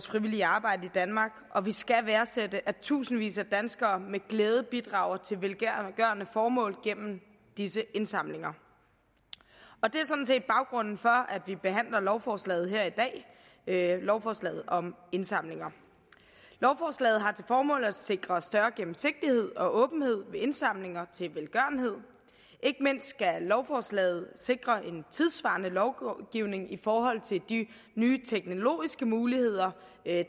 frivillige arbejde i danmark og vi skal værdsætte at tusindvis af danskere med glæde bidrager til velgørende formål gennem disse indsamlinger og det er sådan set baggrunden for at vi behandler lovforslaget her i dag lovforslaget om indsamlinger lovforslaget har til formål at sikre større gennemsigtighed og åbenhed ved indsamlinger til velgørenhed ikke mindst skal lovforslaget sikre en tidssvarende lovgivning i forhold til de nye teknologiske muligheder